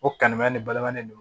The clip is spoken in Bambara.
O kanu bɛ ne balima de no